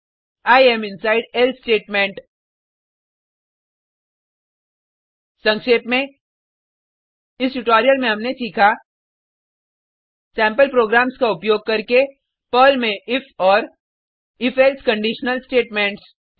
I am inside else statement संक्षेप में इस ट्यूटोरियल में हमने सीखा सेम्पल प्रोग्राम्स का उपयोग करके पर्ल में इफ और if एल्से कंडिशनल स्टेटमेंट्स